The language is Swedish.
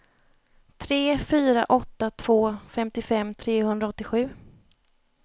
tre fyra åtta två femtiofem trehundraåttiosju